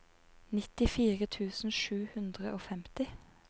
nittifire tusen sju hundre og femti